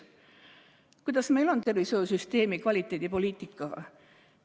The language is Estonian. Milline on meie tervishoiusüsteemi kvaliteedipoliitika?